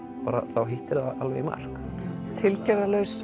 þá hittir hún alveg í mark